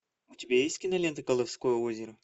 у тебя есть кинолента колдовское озеро